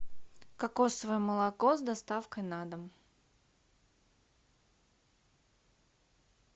кокосовое молоко с доставкой на дом